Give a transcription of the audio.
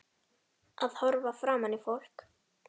Að horfa framan í fólk.